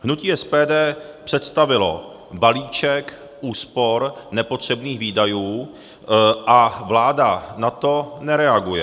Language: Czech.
Hnutí SPD představilo balíček úspor nepotřebných výdajů a vláda na to nereaguje.